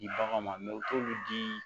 Di bagan ma u t'olu di